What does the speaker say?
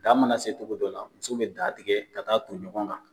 Da ma na se cogo dɔ la musow be da tigɛ ka taa ton ɲɔgɔn kan.